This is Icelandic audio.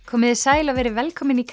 komiði sæl og verið velkomin í